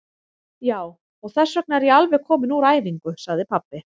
Já, og þessvegna er ég alveg kominn úr æfingu, sagði pabbi.